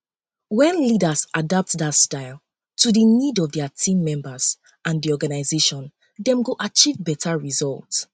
when leaders adapt dia um style um to di need of dia team members and di organization dem go achieve beta results